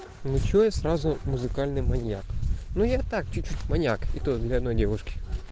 ничего я сразу музыкальный маньяк ну я так чуть чуть маньяк и то для одной девушки